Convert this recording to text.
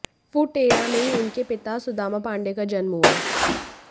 फु टेरा में ही उनके पिता सुदामा पांडे का जन्म हुआ